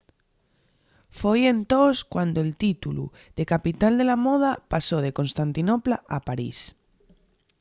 foi entós cuando'l títulu de capital de la moda pasó de constantinopla a parís